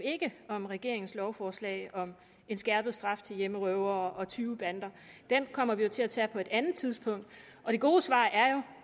ikke om regeringens lovforslag om en skærpet straf til hjemmerøvere og tyvebander den kommer vi jo til at tage på et andet tidspunkt det gode svar er jo